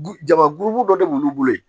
Jama guru dɔ de b'olu bolo yen